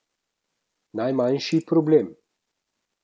Najmanjši problem.